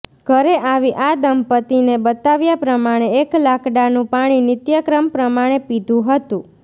ઘરે આવી આ દંપતીને બતાવ્યા પ્રમાણે એક લાકડાનું પાણી નિત્યક્રમ પ્રમાણે પીધું હતું